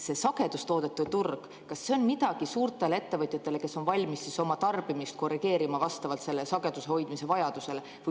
See sagedustoodete turg – kas see on midagi suurtele ettevõtjatele, kes on valmis oma tarbimist korrigeerima vastavalt sageduse hoidmise vajadusele?